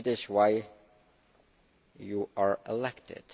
It is why you are elected.